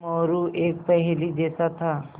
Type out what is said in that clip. मोरू एक पहेली जैसा था